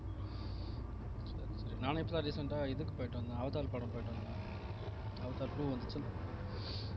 நானே இப்பதான் recent ஆ இதுக்கு போயிட்டு வந்தேன் அவதார் படம் போயிட்டு வந்தேன் அவதார் two வந்துச்சு இல்ல